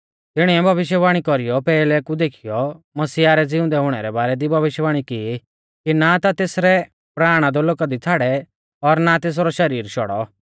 तिणीऐ भविष्यवाणी कौरीयौ पैहलै कु देखीयौ मसीहा रै ज़िउंदै हुणै रै बारै दी भविष्यवाणी की कि ना ता तेसरै प्राण अधोलोका दी छ़ाड़ै और ना तेसरौ शरीर शौड़ौ